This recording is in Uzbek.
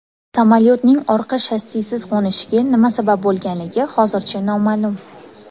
Samolyotning orqa shassisiz qo‘nishiga nima sabab bo‘lganligi hozircha noma’lum.